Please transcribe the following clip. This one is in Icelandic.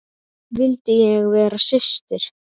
Vildi ég væri systir.